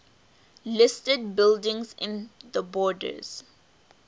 listed buildings in the borders